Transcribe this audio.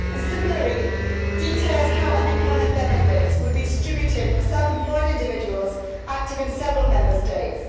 Similarly, it details how unemployment benefits would be distributed to self employed individuals active in several Member States.